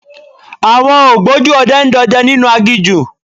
Àwọn ògbójú ọdẹ ń dọdẹ nínú aginjù.